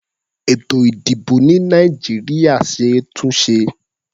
Ètò-ìdìbò ní Nàìjíríà ṣe é túnṣe.